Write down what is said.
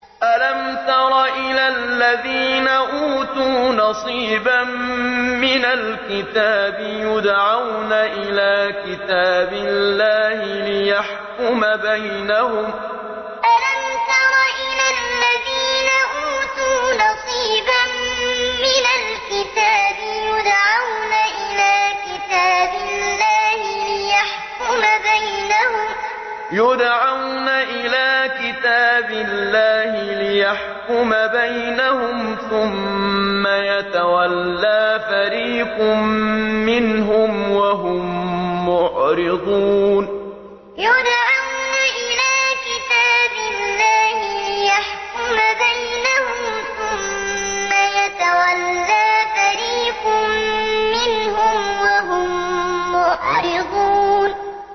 أَلَمْ تَرَ إِلَى الَّذِينَ أُوتُوا نَصِيبًا مِّنَ الْكِتَابِ يُدْعَوْنَ إِلَىٰ كِتَابِ اللَّهِ لِيَحْكُمَ بَيْنَهُمْ ثُمَّ يَتَوَلَّىٰ فَرِيقٌ مِّنْهُمْ وَهُم مُّعْرِضُونَ أَلَمْ تَرَ إِلَى الَّذِينَ أُوتُوا نَصِيبًا مِّنَ الْكِتَابِ يُدْعَوْنَ إِلَىٰ كِتَابِ اللَّهِ لِيَحْكُمَ بَيْنَهُمْ ثُمَّ يَتَوَلَّىٰ فَرِيقٌ مِّنْهُمْ وَهُم مُّعْرِضُونَ